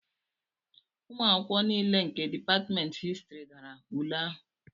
ụmụ akwụkwọ niile nke Dipatmentị Histrị dara ule ahụ